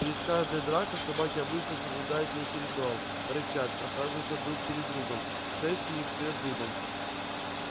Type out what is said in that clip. перед каждой дракой собаки обычно соблюдают некий ритуал рычат прохаживаются друг перед другом шерсть у них встаёт дыбом